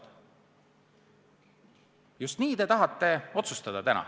Aga just nii te tahate täna otsustada.